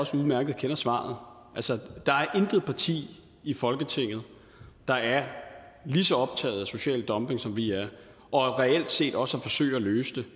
også udmærket kender svaret der er intet parti i folketinget der er lige så optaget af social dumping som vi er og reelt set også forsøger at løse det